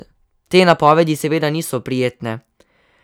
Te napovedi seveda niso prijetne.